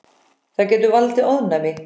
Það getur valdið ofnæmi.